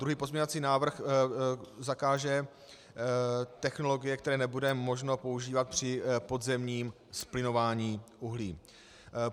Druhý pozměňovací návrh zakáže technologie, které nebude možné používat při podzemním zplyňování uhlí.